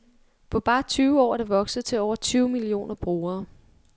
På bare tyve år er det vokset til over tyve millioner brugere.